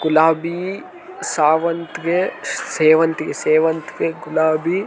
ಗುಲಾಬಿ ಸಾವಂತಿಗೆ ಸೇವಂತಿಗೆ ಸೇವಂತಿಗೆ ಗುಲಾಬಿ .